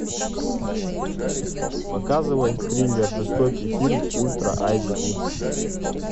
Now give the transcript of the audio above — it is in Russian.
показывай триллер жестокий фильм ультра эйч ди